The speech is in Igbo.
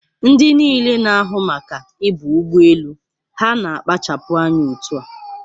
Ndị niile na-ahụ maka ibu ụgbọ elu ha na-akpachapụ anya otua?